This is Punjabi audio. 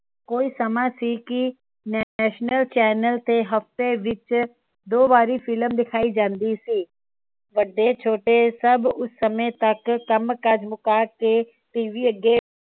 ਕੋਈ ਸਮਾਂ ਸੀ ਕਿ national ਚੈਨਲ ਤੇ ਹਫਤੇ ਵਿਚ ਦੋ ਵਾਰੀ ਫਿਲਮ ਦਿਖਾਈ ਜਾਂਦੀ ਸੀ। ਵੱਡੇ ਛੋਟੇ ਸਬ ਉਸ ਸਮੇ ਤੱਕ ਕੰਮ ਕਾਜ ਮੁਕਾ ਕੇ ਟੀਵੀ ਅੱਗੇ